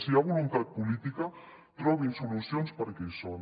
si hi ha voluntat política trobin solucions perquè hi són